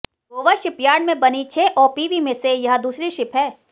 Goa shipyard में बनी छह ओपीवी में से यह दूसरी शिप है